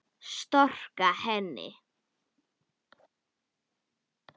Storka henni.